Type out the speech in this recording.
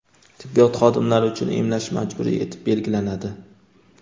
tibbiyot xodimlari uchun emlash majburiy etib belgilanadi.